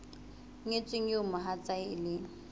nyetsweng eo mohatsae e leng